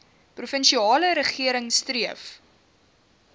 provinsiale regering streef